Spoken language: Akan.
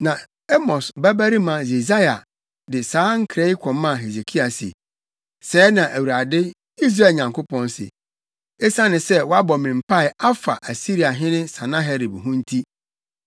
Na Amos babarima Yesaia de saa nkra yi kɔmaa Hesekia se, “Sɛɛ na Awurade, Israel Nyankopɔn se: Esiane sɛ woabɔ me mpae afa Asiriahene Sanaherib ho nti,